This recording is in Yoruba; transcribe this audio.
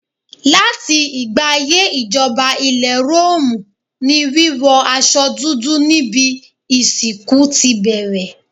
Láti ìgbà ayé ìjọba ilẹ̀ Róòmù ni wíwọ aṣọ dúdú níbi ìsìnkú ti bẹ̀rẹ̀.